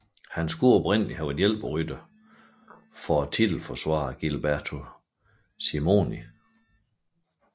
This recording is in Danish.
Han skulle oprindelig være hjælperytter for titelforsvaren Gilberto Simoni